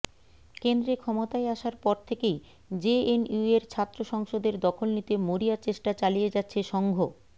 কেন্দ্রে ক্ষমতায় আসার পর থেকেই জেএনইউয়ের ছাত্র সংসদের দখল নিতে মরিয়া চেষ্টা চালিয়ে যাচ্ছে সঙ্ঘ